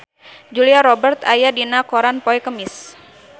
Julia Robert aya dina koran poe Kemis